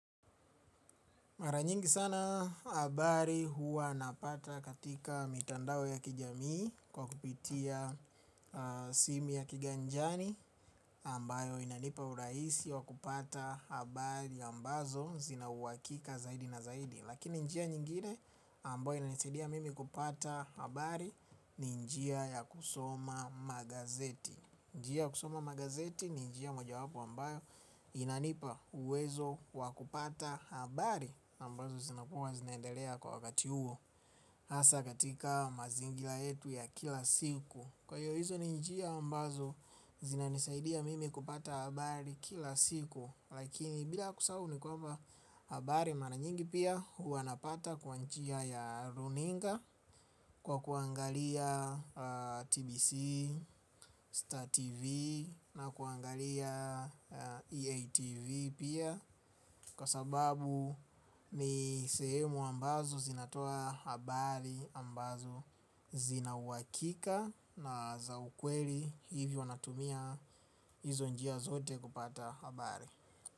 Mara nyingi sana habari huwa napata katika mitandao ya kijamii kwa kupitia simu ya kiganjani ambayo inanipa urahisi wa kupata habari ambazo zina uhakika zaidi na zaidi. Lakini njia nyingine ambayo inanisidia mimi kupata habari ni njia ya kusoma magazeti. Njia ya kusoma magazeti ni njia mojawapo ambayo inanipa uwezo wa kupata habari ambazo zinakuwa zinaendelea kwa wakati huo. Hasa katika mazingira yetu ya kila siku kwa hiyo hizo ni njia ambazo zinanisaidia mimi kupata habari kila siku. Lakini bila kusahau nikwamba habari mara nyingi pia huwa napata kwa njia ya runinga kwa kuangalia KBC, Star TV na kuangalia EATV pia kwa sababu ni sehemu ambazo zinatoa habari ambazo zinauhakika. Na za ukweli hivi wanatumia hizo njia zote kupata habari.